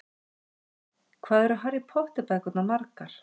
Hvað eru Harry Potter bækurnar margar?